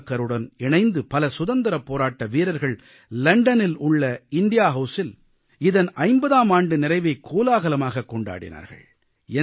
சாவர்க்காருடன் இணைந்து பல சுதந்திரப் போராட்ட வீரர்கள் லண்டனில் உள்ள இந்தியா Houseஇல் இதன் 50ஆம் ஆண்டு நிறைவை கோலாகலமாகக் கொண்டாடினார்கள்